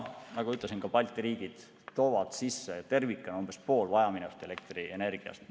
Nagu ütlesin, ka Balti riigid toovad sisse tervikuna umbes pool vajaminevast elektrienergiast.